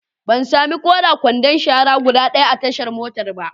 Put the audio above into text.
Ban sami ko da kwandon shara guda ɗaya a tashar motan ba.